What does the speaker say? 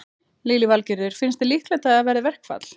Lillý Valgerður: Finnst þér líklegt að það verði verkfall?